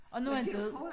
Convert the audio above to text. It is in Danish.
Og nu han død